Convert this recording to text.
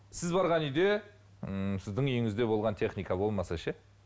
сіз барған үйде ммм сіздің үйіңізде болған техника болмаса ше